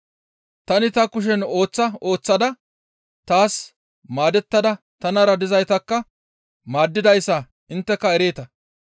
Tani ta kushen ooththa ooththada taas maadettada tanara dizaytakka maaddidayssa intteka ereeta.